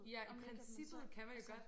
Ja i princippet kan man jo godt